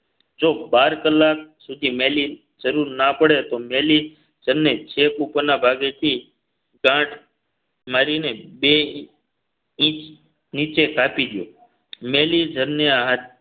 જો બાર કલાક સુધી મેલી જરૂર ના પડે તો મેલી જર ને છેક ઉપરના ભાગેથી ગાંઠ મારીને બે ઇંચ નીચે કાપી દયો મેલી જરને